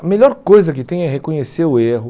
A melhor coisa que tem é reconhecer o erro.